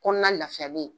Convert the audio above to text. Kɔnɔna lafiyalen